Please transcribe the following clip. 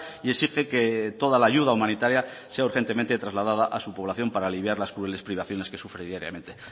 y exige que toda la ayuda humanitaria sea urgentemente trasladada a su población para aliviar las crueles privaciones que sufre diariamente